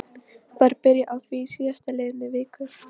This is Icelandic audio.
Var byrjað á því í síðast liðinni viku.